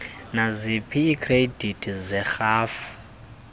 naziphina iikhredithi zerhafu